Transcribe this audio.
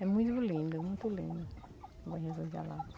É muito lindo, muito lindo o Bom Jesus da lapa.